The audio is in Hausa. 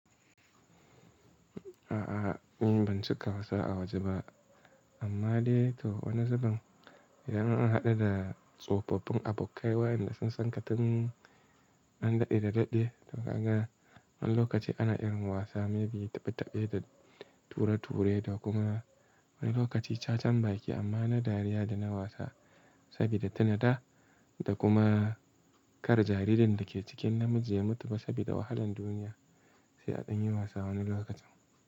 A'a, ni ban ci ka wasa a waje ba. Amma dai to wani zaben idan an haɗu da tsofaffin abokai wayanda sun san ka tun an daɗe da daɗe. To ka ga wani lokaci ana irin wasa maybe taɓe-taɓe da tura-ture da kuma wani lokaci ca-cambaki amma na dariya da na wasa sabida tuna da, da kuma kar jaridar da ke cikin namiji ya mutu ba sabida wahalan duniya sai an yi wasa wani lokacin.